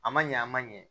A ma ɲɛ a ma ɲɛ